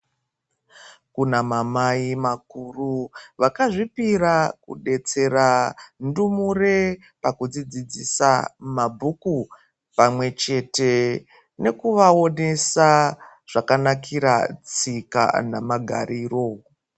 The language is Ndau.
Kunamamai makuru vakazvipira kudetsera ndumure pakudzidzidzisa mabhuku pamwechete nekuvaonesa zvakanakira tsika namagariro